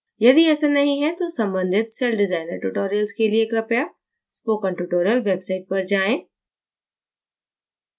यदि ऐसा नहीं है तो सम्बंधित celldesigner tutorials के लिए कृपया spoken tutorial website पर आएं